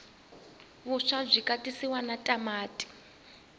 vuswa bwikatsiwa natamati